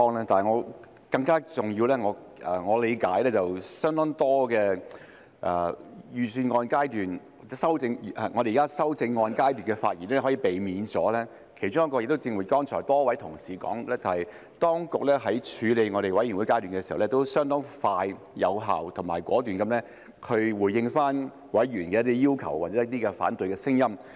但更重要的是，據我理解，我們現時在修正案階段可以避免相當多的發言，其中一原因就是正如剛才多位同事提到，當局在法案委員會階段時，也相當快、有效及果斷地回應了委員的一些要求或反對聲音。